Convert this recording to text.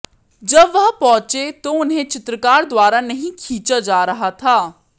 जब वह पहुंचे तो उन्हें चित्रकार द्वारा नहीं खींचा जा रहा था